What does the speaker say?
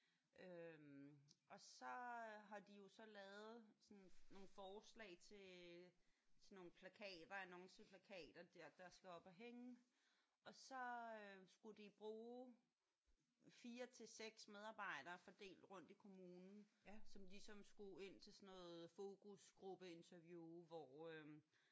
Øh og så har de jo så lavet sådan nogle forslag til til nogle plakater annonceplakater der der skal op at hænge og så skulle de bruge 4 til 6 medarbejdere fordelt rundt i kommunen som ligesom skulle ind til sådan noget fokusgruppeinterview hvor øh